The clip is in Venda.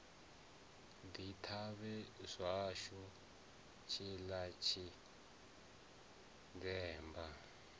ḓi thavha zwashu tshiḽa tshinzemba